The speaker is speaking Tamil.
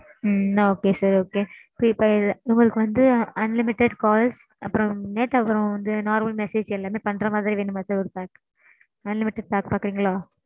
ம்ம்ம். okay sir okay. prepaid உங்களுக்கு வந்து unlimited calls அப்பறோம் night அப்பறோம் வந்து normal message எல்லாமே பண்ற மாதிரி வேணுமா sir ஒரு pack. Unlimited pack பாக்குறீங்களா?